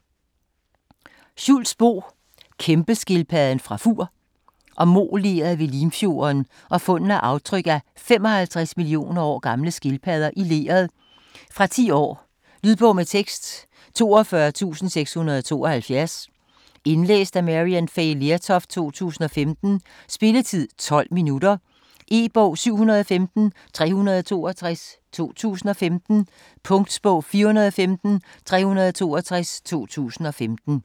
Schultz, Bo: Kæmpeskildpadden fra Fur Om moleret ved Limfjorden og fundene af aftryk af 55 millioner år gamle skildpadder i leret. Fra 10 år. Lydbog med tekst 42672 Indlæst af Maryann Fay Lertoft, 2015. Spilletid: 0 timer, 12 minutter. E-bog 715362 2015. Punktbog 415362 2015. 1 bind.